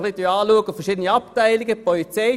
Schauen wir die einzelnen Abteilungen an: